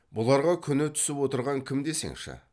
бұларға күні түсіп отырған кім десеңші